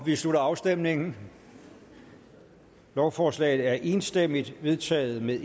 vi slutter afstemningen lovforslaget er enstemmigt vedtaget med